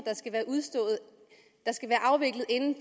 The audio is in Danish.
der skal være afviklet inden